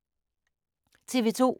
TV 2